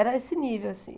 Era esse nível, assim.